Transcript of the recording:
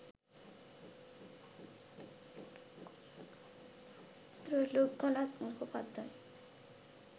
Trailokyanath Mukhopadhyay